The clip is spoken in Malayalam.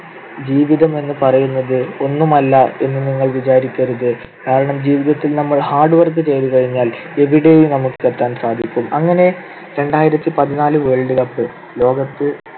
ജീവിതം എന്ന് പറയുന്നത് ഒന്നുമല്ല എന്ന് നിങ്ങൾ വിചാരിക്കരുത്. കാരണം ജീവിതത്തിൽ നമ്മൾ hard work ചെയ്‌തു കഴിഞ്ഞാൽ എവിടെയും നമുക്ക് എത്താൻ സാധിക്കും. അങ്ങനെ രണ്ടായിരത്തിപതിനാല് world cup ലോകത്ത്